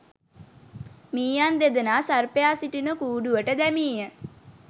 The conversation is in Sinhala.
මීයන් දෙදෙනා සර්පයා සිටින කූඩුවට දැමීය